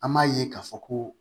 An m'a ye k'a fɔ ko